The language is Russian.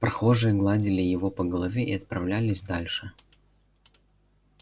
прохожие гладили его по голове и отправлялись дальше